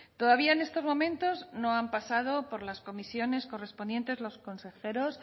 todavía en estos momentos no han pasado por las comisiones correspondientes los consejeros